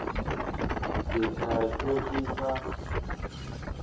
ke tla hlwe ke sa